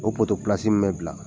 O min bɛ bila